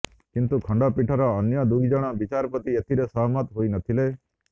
କିନ୍ତୁ ଖଣ୍ଡପୀଠର ଅନ୍ୟ ଦୁଇ ଜଣ ବିଚାରପତି ଏଥିରେ ସହମତ ହୋଇ ନଥିଲେ